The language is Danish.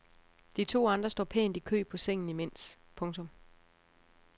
De to andre står pænt i kø på sengen imens. punktum